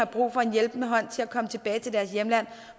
brug for en hjælpende hånd til at komme tilbage til deres hjemland